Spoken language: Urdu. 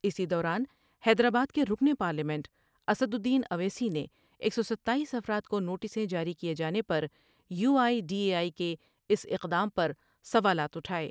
اسی دوران حیدرآباد کے رکن پارلیمنٹ اسدالدین اویسی نے ایک سو ستاییس افراد کونوٹسیں جاری کیے جانے پر U I D A I کے اس اقدام پر سوالات اٹھاۓ ۔